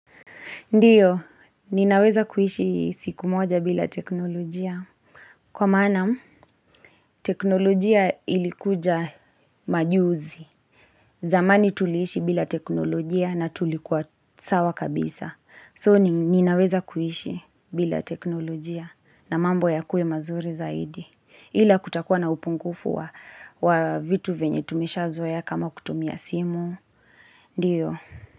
Ndio, ninaweza kuishi siku moja bila teknolojia. Kwa maana, teknolojia ilikuja majuzi. Zamani tuliishi bila teknolojia na tulikuwa sawa kabisa. So, ninaweza kuishi bila teknolojia na mambo yakue mazuri zaidi. Ila kutakuwa na upungufu wa vitu vyenye tumeshazoea kama kutumia simu. Ndio.